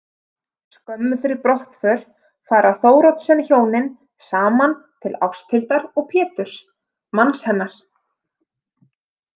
Skömmu fyrir brottför fara Thoroddsenhjónin saman til Ásthildar og Péturs manns hennar.